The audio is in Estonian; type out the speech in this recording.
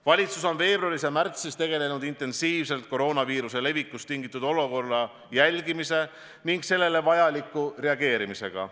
Valitsus on veebruaris ja märtsis tegelenud intensiivselt koroonaviiruse levikust tingitud olukorra jälgimise ning sellele vajaliku reageerimisega.